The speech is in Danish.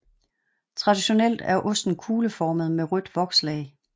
Traditionelt er osten kugleformet med rødt vokslag